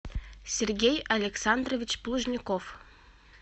сергей александрович плужников